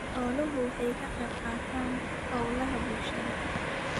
Xooluhu waxay ka qayb qaataan hawlaha bulshada.